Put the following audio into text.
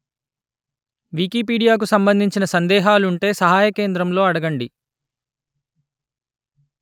Wikipedia కు సంబంధించిన సందేహాలుంటే సహాయ కేంద్రం లో అడగండి